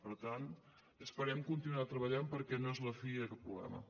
per tant esperem continuar treballant perquè no és la fi d’aquest problema